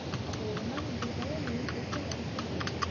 அப்போ ஒரு நாள் உங்களுக்காக leave போட்டுட்டு வர சொல்லு.